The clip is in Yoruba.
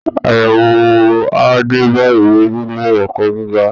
Àyẹ̀wò á dé bá ìwé nílé ẹ̀kọ́ gíga